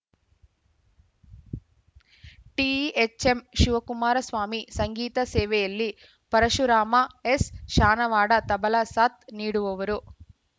THM Shivakumara Swami ಸಂಗೀತ ಸೇವೆಯಲ್ಲಿ ಪರಶುರಾಮ ಎಸ್‌ಶಾನವಾಡ ತಬಲ ಸಾಥ್‌ ನೀಡುವರು